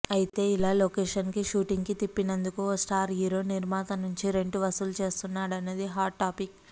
అయితే ఇలా లొకేషన్కి షూటింగుకి తిప్పినందుకు ఓ స్టార్ హీరో నిర్మాత నుంచి రెంటు వసూలు చేస్తున్నాడన్నది హాట్ టాపిక్